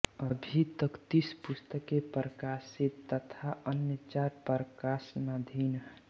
अभी तक तीस पुस्तकें प्रकाशित तथा अन्य चार प्रकाशनाधीन